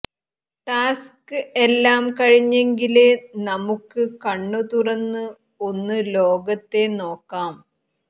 task എല്ലാം കഴിഞ്ഞെങ്കില് നമുക്ക് കണ്ണ് തുറന്ന് ഒന്ന് ലോകത്തെ നോക്കാം